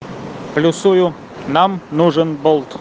плюсую нам нужен болт